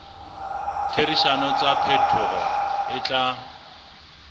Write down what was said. ditherisano tsa diphetoho e tla